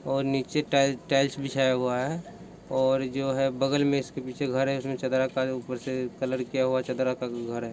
--ओर नीचे टाइल-टाइल बीछाया हुआ है और जो है बगल में इसके पीछे घर है उसमे चदरा का ऊपर से कलर क्या हुआ चदरा का भी घर है।